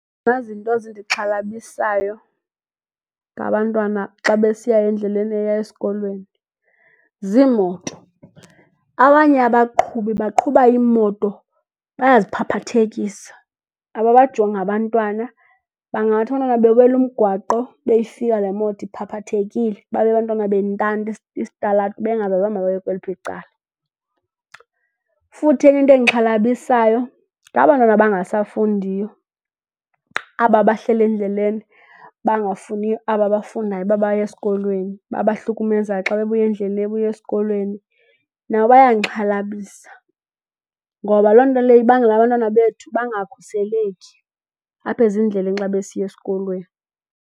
Izinto zindixhalabisayo ngabantwana xa besiya endleleni eya esikolweni ziimoto. Abanye abaqhubi baqhuba iimoto, bayaziphaphathekisa, ababajongi abantwana. Bangathi abantwana bewela umgwaqo ibe ifika le emoto iphaphathekile babe abantwana bentanta isitalato bengazazi ukuba mabaye kweliphi icala. Futhi enye into endixhalabisayo ngaba bantwana bangasafundiyo, aba bahleli endleleni bangafuni aba bafundayo ukuba baye esikolweni, babahlukumezayo xa bebuya endleleni ebuya esikolweni. Nabo bayandixhalabisa ngoba loo nto leyo ibangela abantwana bethu bangakhuseleki apha ezindleleni xa besiya esikolweni.